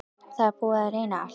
Það er búið að reyna allt.